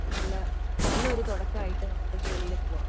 നല്ലൊരു തുടക്കം ആയിട്ട് നമുക്ക് ജോലിൽ പോവാം